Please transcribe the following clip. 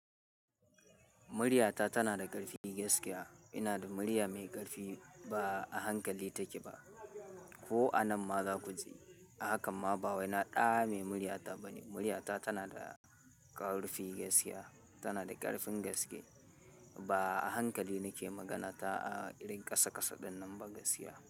Muriata tana da ƙarfin gaskiya. Ina da murya mai ƙarfi ba a hankali take ba. Ko anan ma za ku ji. Ahakan ma ba wai na ɗame murya ta bane. Muryata tana da ƙarfi gaskiya, tana da ƙarfin gaske. Ba a hankali nake magana ta a irin ƙasa ƙasa ɗinnan ba gaskiya.